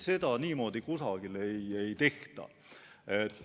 Seda niimoodi kusagil ei tehta.